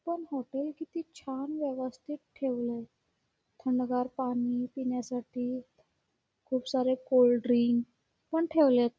पण हॉटेल किती छान वेवस्थित ठेवलंय थंडगार पाणी पिण्यासाठी खुप सार कोल्ड ड्रिंक पण ठेवलेत.